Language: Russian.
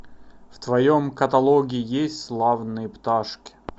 в твоем каталоге есть славные пташки